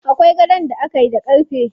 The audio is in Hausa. Akwai gadon da akayi da ƙarfe.